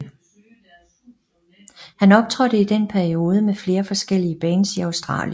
Han optrådte i den periode med flere forskellige bands i Australien